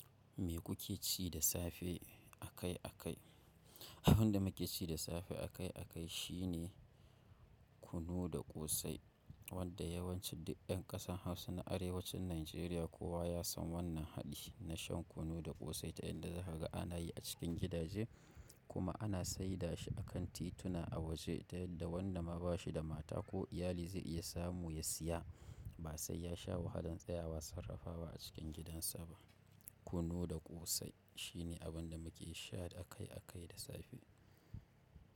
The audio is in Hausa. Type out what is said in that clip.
Me kuke ci da safe a kai a kai? Abin da muke ci da safe a kai a kai shine kunu da ƙosai wanda yawancin duk ƴan ƙasan Hausa na arewacin Najeriya kowa ya san wannan haɗi na shan kunu da ƙosai ta yadda za ka ga ana yi a cikin gidaje kuma ana saida shi a kan tituna a waje ta yadda wanda ma ba shi da mata ko iyali zai iya samu ya siya ba sai ya sha wahalan tsayawa sarrafawa a cikin gidansa ba. Kunu da ƙosai shine abin da muke sha a kai a kai da safe.